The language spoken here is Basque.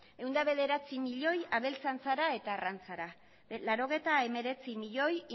ehun eta bederatzi milioi abeltzantzara eta arrantzara laurogeita hemeretzi milioi